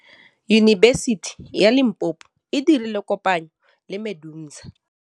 Yunibesiti ya Limpopo e dirile kopanyô le MEDUNSA.